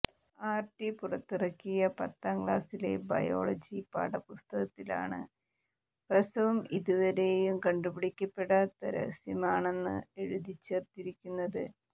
RT പുറത്തിറക്കിയ പത്താം ക്ലാസിലെ ബയോളജി പാഠ പുസ്തകത്തിലാണ് പ്രസവം ഇതുവരെയും കണ്ടുപിടിക്കപ്പെടാത്ത രഹസ്യമാണെന്ന് എഴുതിച്ചേര്ത്തിരിക്കുന്നത്